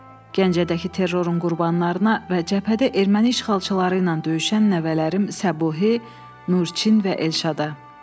Gəncədəki terrorun qurbanlarına və cəbhədə erməni işğalçıları ilə döyüşən nəvələrim Səbuhi, Nurçin və Elşada.